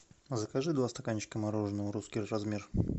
закажи два стаканчика мороженого русский размер